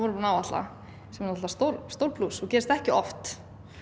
að áætla sem er stór stór plús og gerist ekki oft